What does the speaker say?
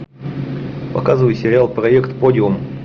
показывай сериал проект подиум